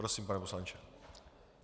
Prosím, pane poslanče.